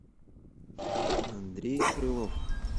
андрей крылов